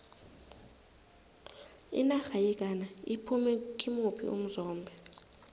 inarha yeghana iphume kimuphi umzombe